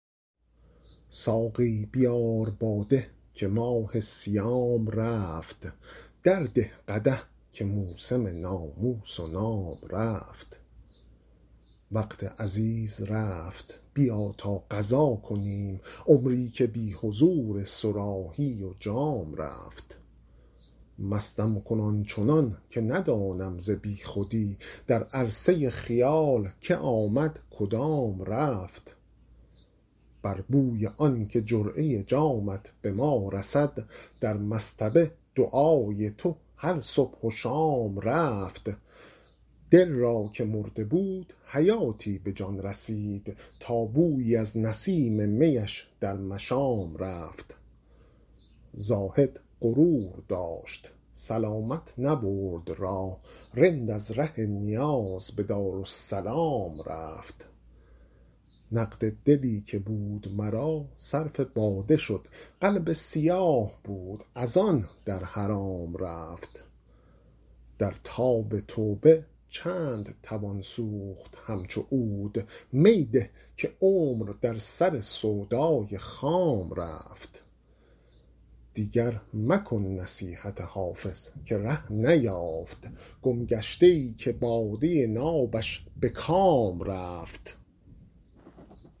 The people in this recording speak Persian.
ساقی بیار باده که ماه صیام رفت درده قدح که موسم ناموس و نام رفت وقت عزیز رفت بیا تا قضا کنیم عمری که بی حضور صراحی و جام رفت مستم کن آن چنان که ندانم ز بی خودی در عرصه خیال که آمد کدام رفت بر بوی آن که جرعه جامت به ما رسد در مصطبه دعای تو هر صبح و شام رفت دل را که مرده بود حیاتی به جان رسید تا بویی از نسیم می اش در مشام رفت زاهد غرور داشت سلامت نبرد راه رند از ره نیاز به دارالسلام رفت نقد دلی که بود مرا صرف باده شد قلب سیاه بود از آن در حرام رفت در تاب توبه چند توان سوخت همچو عود می ده که عمر در سر سودای خام رفت دیگر مکن نصیحت حافظ که ره نیافت گمگشته ای که باده نابش به کام رفت